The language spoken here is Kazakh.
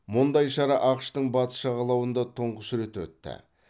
мұндай шара ақш тың батыс жағалауында тұңғыш рет өтті